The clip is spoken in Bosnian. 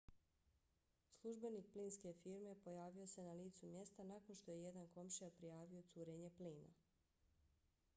službenik plinske firme pojavio se na licu mjesta nakon što je jedan komšija prijavio curenje plina